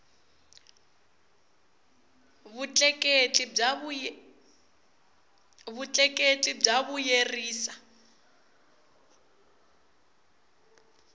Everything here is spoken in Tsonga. vutleketli bya vuyerisa